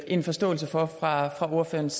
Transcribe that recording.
en forståelse for fra ordførerens